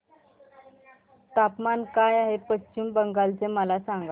तापमान काय आहे पश्चिम बंगाल चे मला सांगा